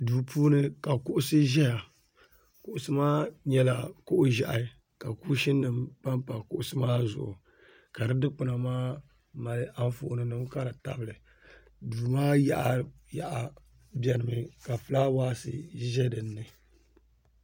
Duu puuni ka kuɣusi ʒeya kuɣusi maa nyɛla kuɣ'ʒɛhi ka kuushini nima pampa kuɣusi maa zuɣu ka di dukpuna maa mali anfooninima ka di tabi li duu maa yaɣa yaɣa benimi ka fulaawaasi ʒe dini.